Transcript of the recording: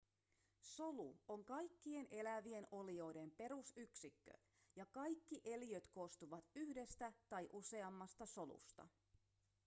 solu on kaikkien elävien olioiden perusyksikkö ja kaikki eliöt koostuvat yhdestä tai useammasta solusta